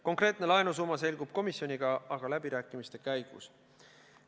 Konkreetne laenusumma selgub aga komisjoniga läbirääkimiste käigus.